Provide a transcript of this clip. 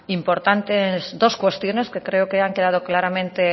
importantes dos cuestiones que creo que han quedado claramente